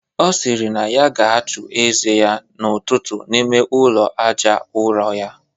Ọ sịrị na ya ga-achụ ize ya n'ụtụtụ n'ime ụlọ aja ụrọ ya